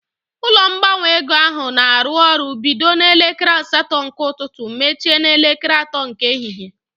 Ụlọ ngbanwe ego ahụ na arụ ọrụ bido n'elekere asatọ nke ụtụtụ mechie n'elekere atọ nke ehihie